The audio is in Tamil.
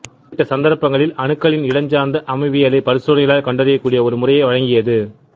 குறிப்பிட்ட சந்தர்ப்பங்களில் அணுக்களின் இடஞ்சார்ந்த அமைவியலை பரிசோதனையால் கண்டறியக்கூடிய ஒரு முறையை வழங்கியது